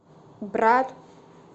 брат